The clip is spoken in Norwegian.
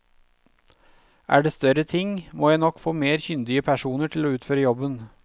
Er det større ting, må jeg nok få mer kyndige personer til å utføre jobben.